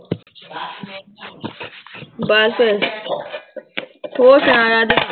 ਬਸ ਹੋਰ ਸੁਣਾ ਰਾਜ